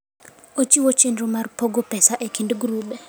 Ochiwo chenro mar pogo pesa e kind grube.